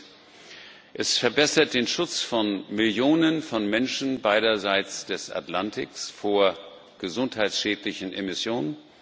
Erstens Es verbessert den Schutz von Millionen von Menschen beiderseits des Atlantiks vor gesundheitsschädlichen Emissionen.